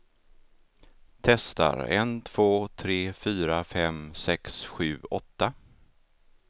Testar en två tre fyra fem sex sju åtta.